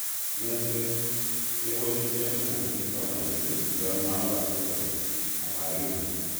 Kanyoiset keboisein antihistamines yon mabaa symptoms ama kinyaa